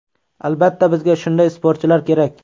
Albatta, bizga bunday sportchilar kerak.